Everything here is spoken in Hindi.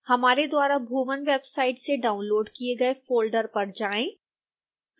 हमारे द्वारा bhuvan वेबसाइट से डाउनलोड़ किए गए फोल्डर पर जाएं